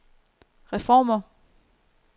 reformer